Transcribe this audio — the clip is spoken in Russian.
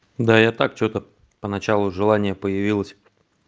да я так что-то поначалу желание появилось